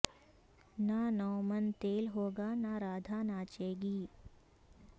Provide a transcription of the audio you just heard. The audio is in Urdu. نہ نو من تیل ہوگا نہ رادھا ناچے گی